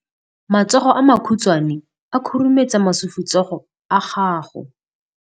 Matsogo a makhutshwane a khurumetsa masufutsogo a gago.